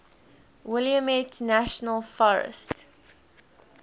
willamette national forest